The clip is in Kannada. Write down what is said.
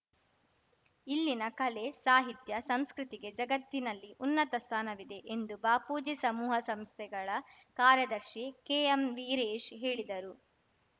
ಇಲ್ಲಿನ ಕಲೆ ಸಾಹಿತ್ಯ ಸಂಸ್ಕೃತಿಗೆ ಜಗತ್ತಿನಲ್ಲಿ ಉನ್ನತ ಸ್ಥಾನವಿದೆ ಎಂದು ಬಾಪೂಜಿ ಸಮೂಹ ಸಂಸ್ಥೆಗಳ ಕಾರ್ಯದರ್ಶಿ ಕೆಎಂ ವೀರೇಶ್‌ ಹೇಳಿದರು